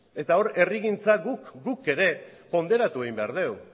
eta hor herrigintza guk ere ponderatu egin behar dugu